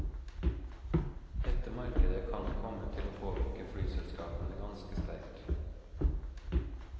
Dette markedet kan nok komme til å påvirke flyselskapene ganske sterkt.